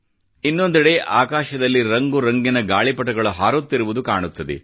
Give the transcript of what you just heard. ಇನ್ನೊಂದೆಡೆ ಆಕಾಶದಲ್ಲಿ ರಂಗುರಂಗಿನ ಗಾಳಿಪಟಗಳು ಹಾರುತ್ತಿರುವುದು ಕಾಣುತ್ತದೆ